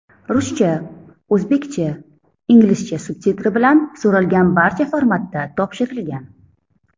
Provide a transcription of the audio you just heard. Ruscha, o‘zbekcha, inglizcha subtitri bilan, so‘ralgan barcha formatda topshirilgan.